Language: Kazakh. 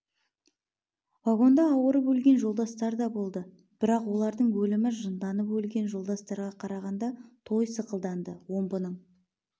вагонда ауырып өлген жолдастар да болды бірақ олардың өлімі жынданып өлген жолдастарға қарағанда той сықылданды омбының